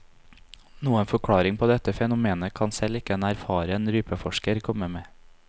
Noen forklaring på dette fenomenet kan selv ikke en erfaren rypeforsker komme med.